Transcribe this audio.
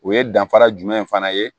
O ye danfara jumɛn fana ye